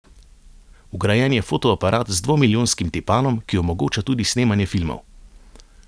Vgrajen je fotoaparat z dvomilijonskim tipalom, ki omogoča tudi snemanje filmov.